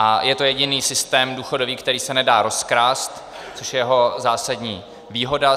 A je to jediný systém důchodový, který se nedá rozkrást, což je jeho zásadní výhoda.